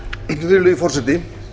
virðulegi forseti